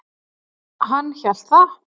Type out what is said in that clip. Hann hélt það.